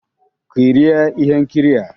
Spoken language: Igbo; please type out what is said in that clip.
Kirie ihe nkiri a!